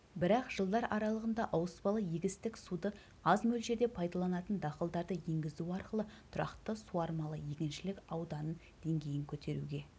бірақ жылдар аралығында ауыспалы егістік суды аз мөлшерде пайдаланатын дақылдарды енгізу арқылы тұрақты суармалы егіншілік ауданын дейін көтеруге